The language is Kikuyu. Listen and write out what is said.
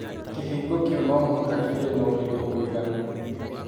Kĩhingo kĩu no mũhaka kĩgĩe na ũritũ mũiganu.